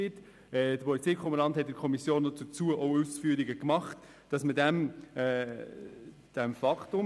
Der Polizeikommandant hat gegenüber der Kommission jedoch Ausführungen dazu gemacht: